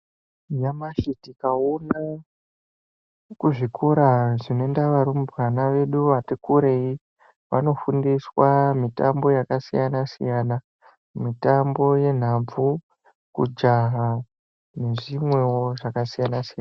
Nyamashi tikaona kuzvikora zvinoenda varumbwana vedu vati kurei vanosundiswa mitambo yakasiyana siyana mitambo yenhabvu kujaha nezvimwewo zvakasiyana siyana.